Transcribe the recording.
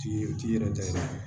T'i u t'i yɛrɛ da i la